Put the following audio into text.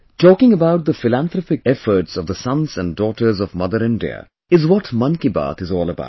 Talking about the philanthropic efforts of the sons and daughters of Mother India is what 'Mann Ki Baat' is all about